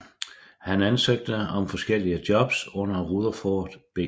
Han ansøgte om forskellige jobs under Rutherford B